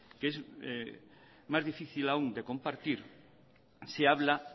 que es más difícil aún de compartir se habla